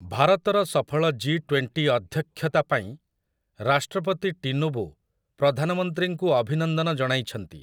ଭାରତର ସଫଳ 'G twenty' ଅଧ୍ୟକ୍ଷତା ପାଇଁ ରାଷ୍ଟ୍ରପତି ଟିନୁବୁ ପ୍ରଧାନମନ୍ତ୍ରୀଙ୍କୁୁ ଅଭିନନ୍ଦନ ଜଣାଇଛନ୍ତି ।